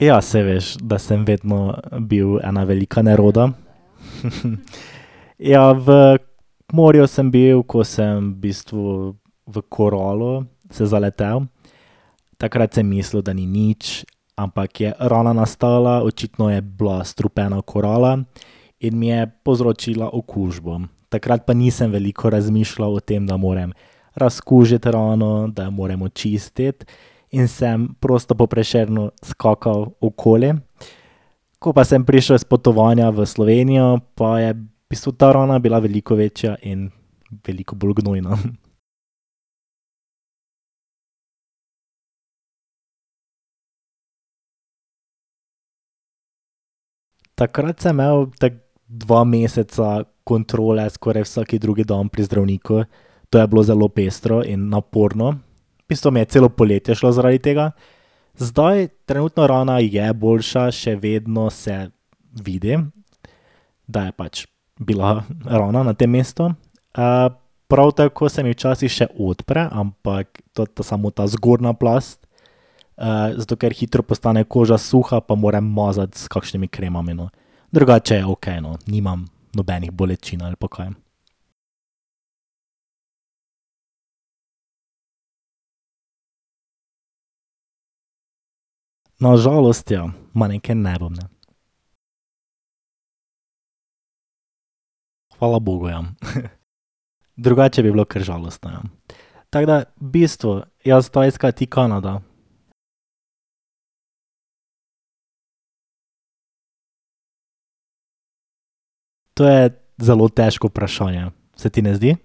Ja, saj veš, da sem vedno bil ena velika neroda. Ja, v morju sem bil, ko sem v bistvu v koralo se zaletel. Takrat sem mislil, da ni nič, ampak je rana nastala. Očitno je bila strupena korala. In mi je povzročila okužbo. Takrat pa nisem veliko razmišljal o tem, da moram razkužiti rano, da jo moram očistiti, in sem prosto po Prešernu skakal okoli. Ko pa sem prišel s potovanja v Slovenijo, pa je v bistvu ta rana bila veliko večja in veliko bolj gnojna. Takrat sem imel tako dva meseca kontrole skoraj vsak drugi dan pri zdravniku. To je bilo zelo pestro in naporno. V bistvu mi je celo poletje šlo zaradi tega. Zdaj trenutno rana je boljša, še vedno se vidi, da je pač bila rana na tem mestu. prav tako se mi včasih še odpre, ampak to samo ta zgornja plast, zato ker hitro postane koža suha, pa moram mazati s kakšnimi kremami, no. Drugače je okej, no, nimam nobenih bolečin ali pa kaj. Na žalost ja. Ma neke nerodne. Hvala bogu, ja. Drugače bi bilo kar žalostno, ja. Tako da v bistvu jaz Tajska, ti Kanada. To je zelo težko vprašanje. Se ti ne zdi?